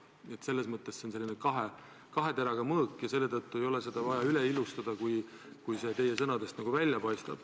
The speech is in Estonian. Nii et selles mõttes on see kahe teraga mõõk ja seda kõike ei ole vaja ilustada, nagu te oma sõnadega teete.